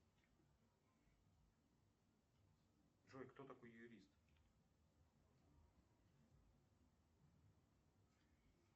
джой кто такой юрист